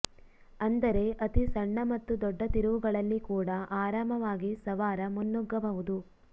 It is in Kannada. ಅಂದರೆ ಅತಿ ಸಣ್ಣ ಮತ್ತು ದೊಡ್ಡ ತಿರುವುಗಳಲ್ಲಿ ಕೂಡ ಆರಾಮವಾಗಿ ಸವಾರ ಮುನ್ನುಗ್ಗಬಹುದು